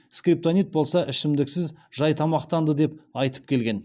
скриптонит болса ішмдіксіз жай тамақтанды деп айтып келген